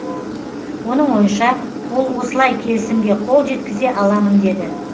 оның ойынша ол осылай келісімге қол жеткізе аламын деді